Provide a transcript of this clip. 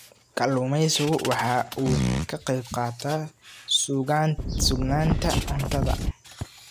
Kalluumaysigu waxa uu ka qayb qaataa sugnaanta cuntada.